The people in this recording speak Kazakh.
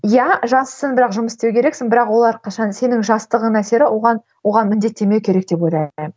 иә жассың бірақ жұмыс істеу керексің бірақ олар қашан сенің жастығыңның әсері оған оған міндеттемеу керек деп ойлаймын